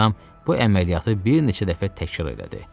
Meymun adam bu əməliyyatı bir neçə dəfə təkrar elədi.